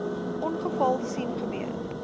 ongeval sien gebeur